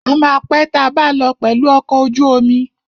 A ma pé tabá lọ pẹ̀lù ọkọ̀ ojú omi.